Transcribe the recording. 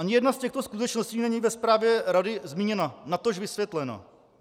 Ani jedna z těchto skutečností není ve zprávě rady zmíněna, natož vysvětlena.